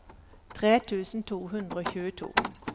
tre tusen to hundre og tjueto